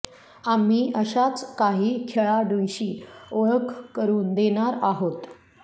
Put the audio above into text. आम्ही अशाच काही खेळाडूंशी ओळख करून देणार आहोत